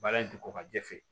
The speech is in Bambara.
Baara in ti ko kajɛ fɛ